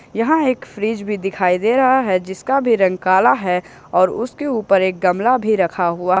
यहां एक फ्रीज भी दिखाई दे रहा है जिसका भी रंग काला है और उसके ऊपर एक गमला भी रखा हुआ--